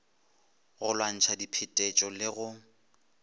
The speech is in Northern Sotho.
go lwantšha diphetetšo le go